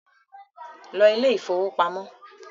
ló Ilé ìfowópamọ́!